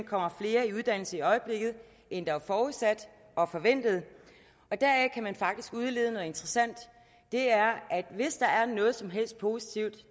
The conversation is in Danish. kommer flere i uddannelse i øjeblikket end der var forudsat og forventet og deraf kan man faktisk udlede noget interessant og det er at hvis der er noget som helst positivt